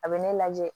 A bɛ ne lajɛ